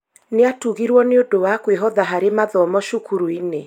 Nĩatugirwo nĩũndũ wa kũĩhotha harĩ mathomo cukuruinĩ